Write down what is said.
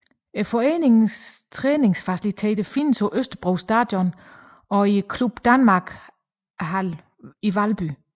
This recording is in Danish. Foreningens træningsfaciliteter findes på Østerbro Stadion og i Club Danmark Hallen i Valby